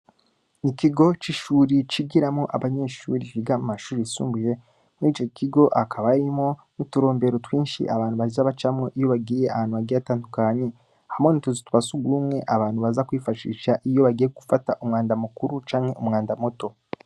Ikigo c'ishure cigiramwo abanyeshure biga mu mashure yisumbuye, murico kigo hakaba harimwo uturombero twinshi abantu baza bacamwo iyo bagiye ahantu hagiye hatandukanye, hamwe n'utuzu twasugumwe abantu baza kwifashisha iyo bagiye gufata umwanda mukuru canke umwanda muto.